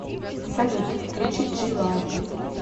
салют включи джи лайф